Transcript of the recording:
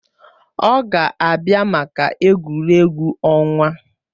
Ọ ga-abịa maka egwuregwu ọnwa